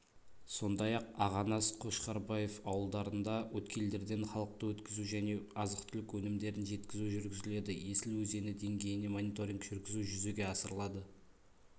сондай-ақ ағанас қошқарбаев ауылдарында өткелдерден халықты өткізу және азық-түлік өнімдерін жеткізу жүргізіледі есіл өзені деңгейіне мониторинг жүргізу жүзеге асырылады